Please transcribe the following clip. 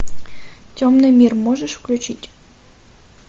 темный мир можешь включить